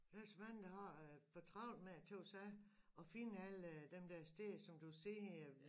Der er så mange der har øh for travlt med at tage ud og se og finde alle dem der steder som du ser